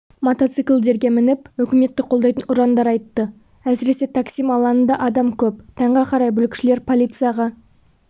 мотоциклдерге мініп үкіметті қолдайтын ұрандар айтты әсіресе таксим алаңында адам көп таңға қарай бүлікшілер полицияға